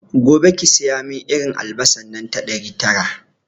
Gobe ki siyomin irin albasa nan ta ɗari tara